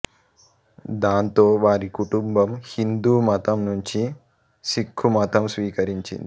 దాంతో వారి కుటుంబం హిందూ మతం నుంచి సిక్ఖు మతం స్వీకరించింది